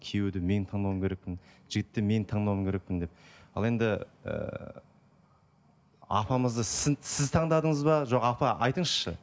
күйеуді мен таңдауым керекпін жігітті мен таңдауым керекпін деп ал енді ыыы апамызды сіз таңдадыңыз ба жоқ апа айтыңызшы